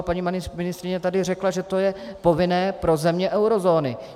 A paní ministryně tady řekla, že to je povinné pro země eurozóny.